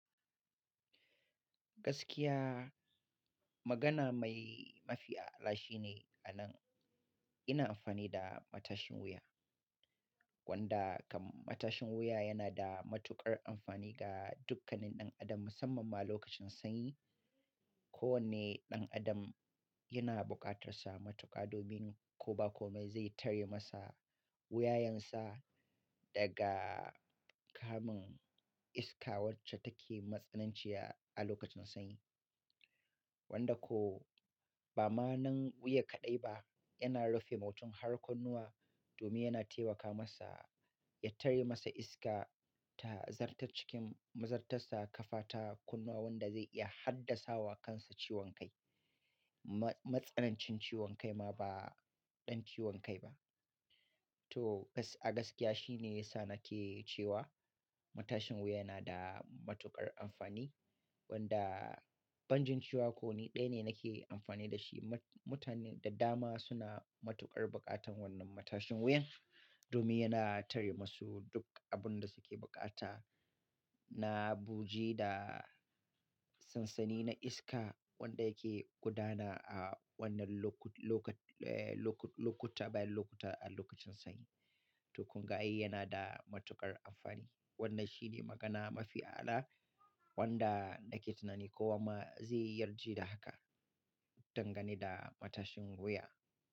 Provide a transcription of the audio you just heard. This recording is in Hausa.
Gaskiya magana mai mafi a'ala shi ne a nan. Ina amfani da matashin wuya wanda kam matashin wuya yana da matuƙar amfani ga dukkanin ɗan adam musamman ma lokacin sanyi. Ko wanne ɗan adam yana bukatarsa matuka domin ko ba komai zai tare masa wuyayensa daga kamun iska wacce take matsananciya a lokacin sanyi. Wanda ko ba ma nan wuya kaɗai ba yana rufe mutum har kunnuwa domin yana taimaka masa ya tare masa iska ta zarta cikin mazartarsa ƙafa ta kunnuwa wanda zai iya haddasawa kansa ciwon kai. Ma-matsanancin ciwon kai ma ba ɗan ciwon kai ba. To kas-- a gaskiya shi ne yasa nake cewa matashin wuya yana da matuƙar amfani wanda ban jin ciwa ko ni ɗaya ne nake amfani da shi. Mu-mutane daddama suna matuƙar bukatan wannan matashin wuyan domin yana tare masu duk abin da suke bukata na buji da sansani na iska wanda yake gudana a wannan loko-lokat-eh loko-lokuta bayan lokuta a lokacin sanyi. To kunga ai yana da matuƙar amfani. Wannan shi ne magana mafi a'ala wanda nake tunani ko wa ma zai yarje da haka. Dangane da matashin wuya.